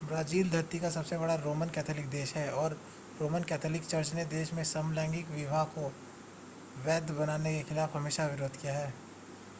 Brazil धरती पर सबसे बड़ा रोमन कैथोलिक देश है और रोमन कैथोलिक चर्च ने देश में समलैंगिक विवाह को वैध बनाने के खिलाफ हमेशा विरोध किया है